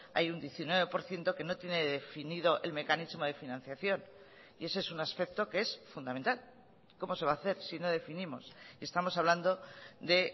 hay un diecinueve por ciento que no tiene definido el mecanismo de financiación y ese es un aspecto que es fundamental cómo se va a hacer si no definimos estamos hablando de